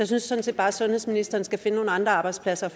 synes sådan set bare at sundhedsministeren skal finde nogle andre arbejdspladser